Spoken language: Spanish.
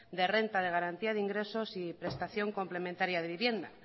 de renta de garantía de ingresos y prestación complementaria de vivienda